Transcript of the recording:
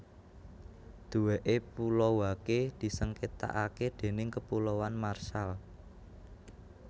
Duweke Pulau Wake disengketakake déning Kepulauan Marshall